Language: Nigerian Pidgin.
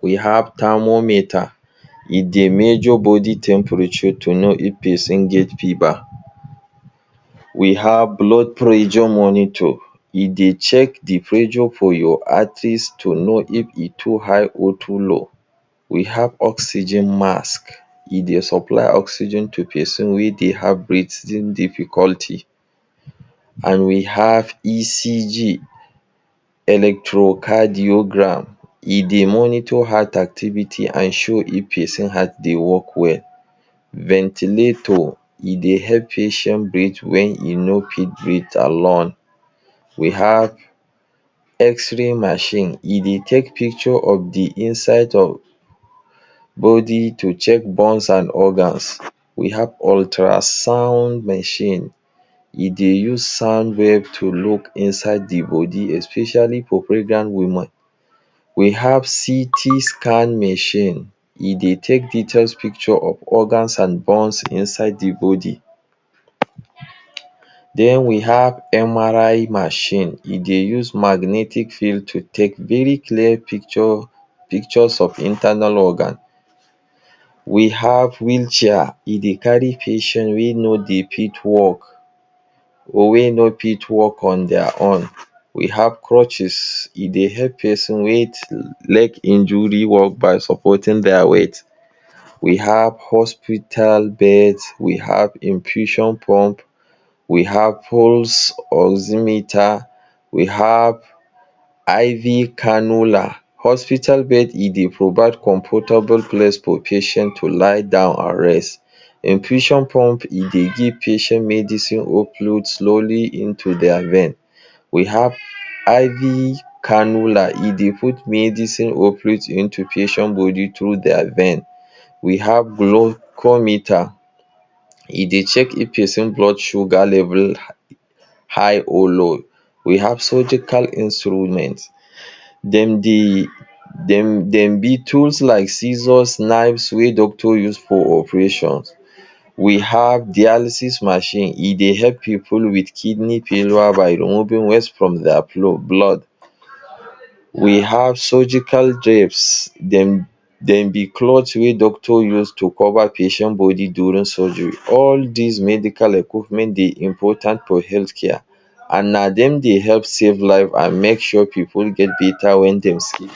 We have therrmometer: e dey measure body temperature to know if person get fever we have blood pressure monitor: e dey check de pressure for your arteries to know if e too high or too low. we have oxygen mask; e dey supply oxygen to person wey dey have breathing difficulty and we have ECG electrocardiogram e dey monitor heart activity an show if person heart dey work well. Ventilator e dey help patient breath when e no fit breath alone; we have x-ray machine e dey take picture of de inside of body to check bones an organs. we have ultrasound machine; e dey use sound wave to look inside de body especially for pregnant woman. we have CT scan machine; e dey take details pictures of organs an bones inside de body den we have MRI machine; e dey use magnetic field to take very clear picture pictures of internal organ. we have wheel chair; e dey carry patient wey no dey fit walk or wey no fit walk on their own we have crutches e dey help person wey leg injury work by supporting their their weight. we have hospital bed; we have Infusion pump, we have poles oximeter: we have IV cannula: hospital bed e dey provide comfortable place for patient to lie down an rest. Infusion pump; e dey give patient medicine upload slowly into dia vein we have IV cannula e dey put medicine operates into patients body through their vein we have glocometer; e dey check if person blood sugar level high or low we have. surgical instruments dem de dem be tools like scissors knives wey doctors use for operations we have dialysis machine e dey help pipu with kidney failure by Removing waste from their flow blood; we have surgical. Dem be clothes wey doctor use to cover patient body during surgery. All this medical equipment dey important for health care and na dem dey help save life and make sure pipu get better wen dem sick.